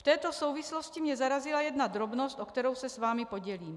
V této souvislosti mě zarazila jedna drobnost, o kterou se s vámi podělím.